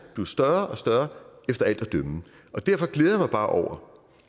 blive større og større efter alt at dømme derfor glæder jeg mig bare over